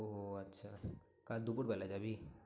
ওহ আচ্ছা কাল দুপুরবেলা যাবি?